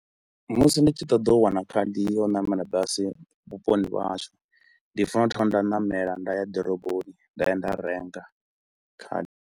Musi ndi tshi ṱoḓa u wana khadi ya u namela basi vhuponi vhahashu ndi fanela u thoma nda ṋamela nda ya ḓiroboni nda ya nda renga khadi.